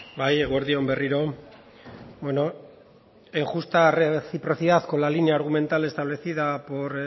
bai eguerdi on berriro bueno en justa reciprocidad con la línea argumental establecida por